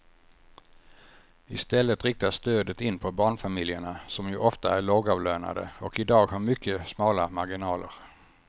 I stället riktas stödet in på barnfamiljerna som ju ofta är lågavlönade och i dag har mycket smala marginaler.